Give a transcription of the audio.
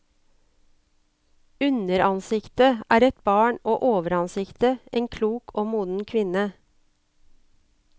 Underansiktet er et barn og overansiktet en klok og moden kvinne.